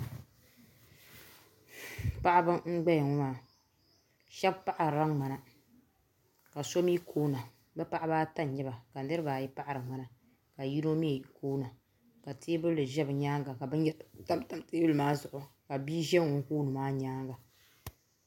paɣaba n gbaya ŋɔ maa shɛbi paɣarila ŋmana ka so mi koona paɣaba ata m nyɛba be paɣaba ata n nyɛba ka niriba ayi paɣari ŋmanaka yino mi koona ka teebuli za bi nyaanga ka bin yara tam tam teebuli maa zuɣu ka bia ʒɛ ŋun koo ni maa nyaanga